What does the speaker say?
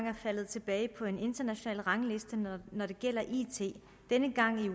er faldet tilbage på en international rangliste når det gælder it denne gang i